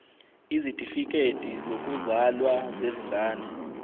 izitifikedi zokuzalwa zezingane